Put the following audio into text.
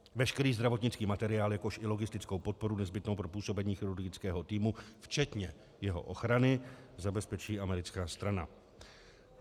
Veškerý zdravotnický materiál, jakož i logistickou podporu nezbytnou pro působení chirurgického týmu včetně jeho ochrany zabezpečí americká strana.